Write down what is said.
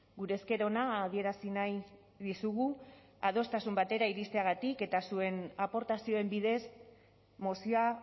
gure esker ona adierazi nahi dizugu adostasun batera iristeagatik eta zuen aportazioen bidez mozioa